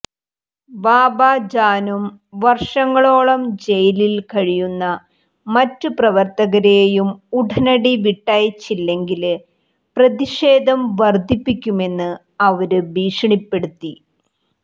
ബാബ ജാനും വര്ഷങ്ങളോളം ജയിലില് കഴിയുന്ന മറ്റ് പ്രവര്ത്തകരെയും ഉടനടി വിട്ടയച്ചില്ലെങ്കില് പ്രതിഷേധം വര്ദ്ധിപ്പിക്കുമെന്ന് അവര് ഭീഷണിപ്പെടുത്തി